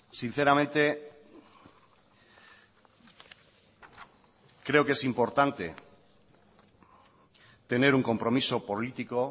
sinceramente creo que es importante tener un compromiso político